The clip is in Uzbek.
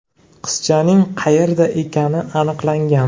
Qizchaning qayerda ekani aniqlangan.